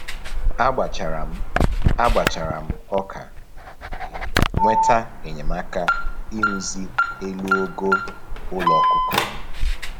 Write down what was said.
A gbachara m A gbachara m ọka wee nweta enyemaka ịrụzi elu ogo ụlọ ọkụkọ m